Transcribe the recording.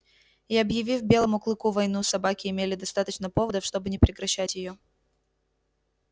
и объявив белому клыку войну собаки имели достаточно поводов чтобы не прекращать её